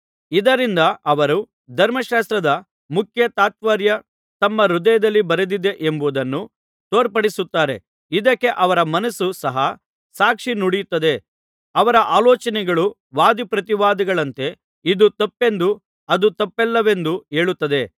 ಇದರಿಂದ ಅವರು ಧರ್ಮಶಾಸ್ತ್ರದ ಮುಖ್ಯ ತಾತ್ಪರ್ಯ ತಮ್ಮ ಹೃದಯದಲ್ಲಿ ಬರೆದಿದೆ ಎಂಬುದನ್ನು ತೋರ್ಪಡಿಸುತ್ತಾರೆ ಇದಕ್ಕೆ ಅವರ ಮನಸ್ಸು ಸಹ ಸಾಕ್ಷಿ ನುಡಿಯುತ್ತದೆ ಅವರ ಆಲೋಚನೆಗಳು ವಾದಿಪ್ರತಿವಾದಿಗಳಂತೆ ಇದು ತಪ್ಪೆಂದು ಅದು ತಪ್ಪಲ್ಲವೆಂದು ಹೇಳುತ್ತದೆ